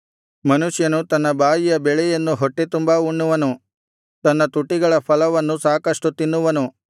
ಮನುಷ್ಯನು ತನ್ನ ಬಾಯಿಯ ಬೆಳೆಯನ್ನು ಹೊಟ್ಟೆ ತುಂಬಾ ಉಣ್ಣುವನು ತನ್ನ ತುಟಿಗಳ ಫಲವನ್ನು ಸಾಕಷ್ಟು ತಿನ್ನುವನು